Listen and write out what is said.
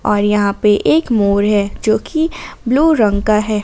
और यहां पे एक मोर है जो की ब्लू रंग का है।